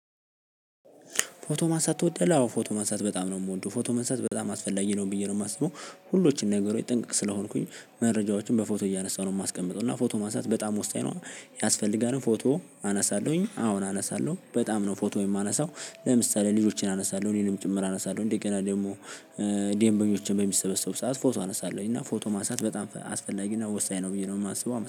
ፎቶ ማንሳት ትወዳለህ? አዎ ፎቶ ማንሳት በጣም ነው የምወደው ፎቶ ማንሳት በጣም አስፈላጊ ነው ብዬ ነው የማስበው ሁሎችን ነገሮች ጥንቅቅ ስለሆንኩኝ መረጃዎችን በፎቶ እያነሳሁ ነው የማስቀምጠው። እና ፎቶ ማንሳት በጣም ወሳኝ ነው። ያስፈልጋል ፎቶ አነሳለሁኝ አሁን አነሳለሁ በጣም ነው ፎቶ የማነሳው። ለምሳሌ ልጆቸን አነሳለሁ እኔንም ጭምር አነሳለሁ እንዴ ገና ደግሞ። ደንበኞችን በሚሰበሰቡ ሰዓት ፎቶ አነሳለሁኝ እና ፎቶ ማሳት በጣም አስፈላጊ ነው ወሳኝ ነው ብዬ ነው የማስበው